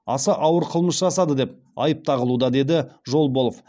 аса ауыр қылмыс жасады деп айып тағылуда деді жолболов